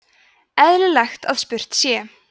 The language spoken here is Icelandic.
eðlilegt að spurt sé